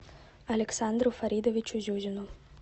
александру фаридовичу зюзину